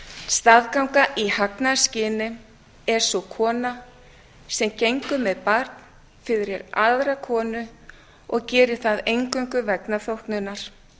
staðganga í hagnaðarskyni er sú kona sem gengur með barn fyrir aðra konu og gerir það eingöngu vegna þóknunar